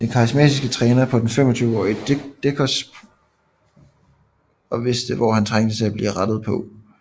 Den karismatiske træner så den 25årige Decos potientale og vidste hvor han trængte til at blive rettet på